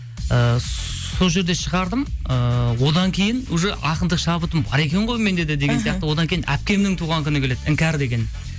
ыыы сол жерде шығардым ыыы одан кейін уже ақындық шабытым бар екен ғой менде де деген сияқты одан кейін әпкемнің туған күні келеді іңкәр деген